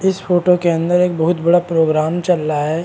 इस फोटो के अंदर एक बहुत बड़ा प्रोग्राम चल रहा है।